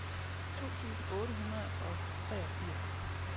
to tusind otte hundrede og treogfirs